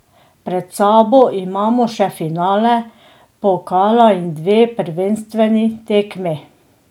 Pred sabo imamo še finale pokala in dve prvenstveni tekmi.